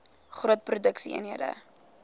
groot produksie eenhede